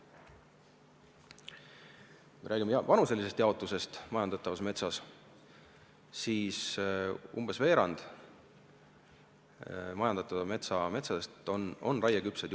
Kui räägime majandatavate metsade vanuselisest jaotusest, siis umbes veerand neist on juba raieküpsed.